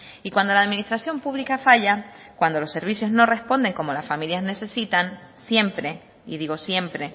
y cuando la administración pública falla cuando los servicios no responden como las familias necesitan siempre y digo siempre